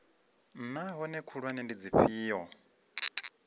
naa hoea khulwane ndi dzifhio